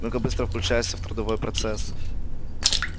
ну-ка быстро включайся в трудовой процесс